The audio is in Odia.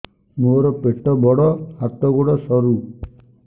ମୋର ପେଟ ବଡ ହାତ ଗୋଡ ସରୁ